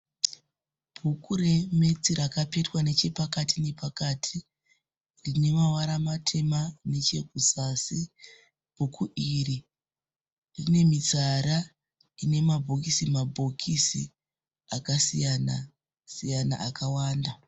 Bhuku reMaths rakapetwa nechepakati nepakati. Rinemavara matema nechekuzasi. Bhuku iri rinemitsara ine mabhokisi mabhokisi akasiyana siyana akawanda.